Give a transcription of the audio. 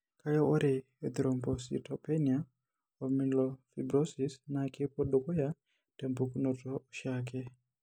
Kake, ore enthrombocytopenia omyelofibrosis naa kepuo dukuya tempukunoto oshiake.